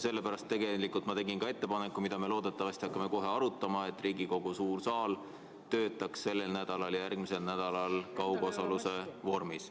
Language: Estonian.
Ja tegelikult ma tegin ettepaneku, mida me loodetavasti hakkame kohe arutama, et Riigikogu suur saal töötaks sellel nädalal ja järgmisel nädalal kaugosaluse vormis.